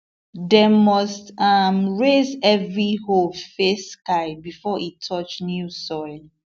dem must um raise every hoe face sky before e touch new soil